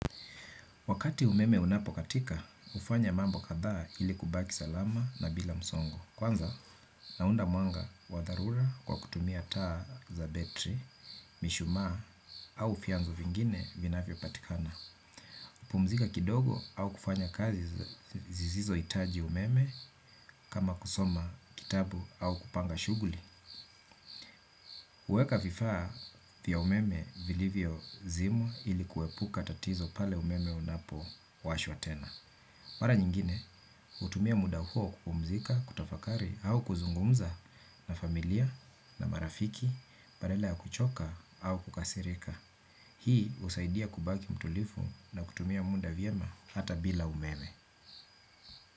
Wakati umeme unapokatika, hufanya mambo kadhaa ili kubaki salama na bila msongo. Kwanza, naunda mwanga wa dharura kwa kutumia taa za betri, mishumaa au fianzo vingine vinavyopatikana. Pumzika kidogo au kufanya kazi zizizo hitaji umeme kama kusoma kitabu au kupanga shughuli. Kuweka vifaa vya umeme vilivyozimwa ili kuepuka tatizo pale umeme unapowashwa tena. Mara nyingine, hutumia muda huo kupumzika, kutafakari au kuzungumza na familia na marafiki, badala ya kuchoka au kukasirika. Hii husaidia kubaki mtulifu na kutumia muda vyema hata bila umeme.